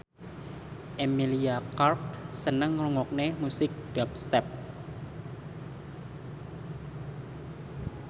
Emilia Clarke seneng ngrungokne musik dubstep